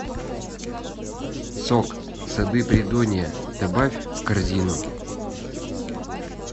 сок сады придонья добавь в корзину